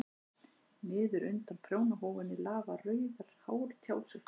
Niður undan prjónahúfunni lafa rauðar hártjásur.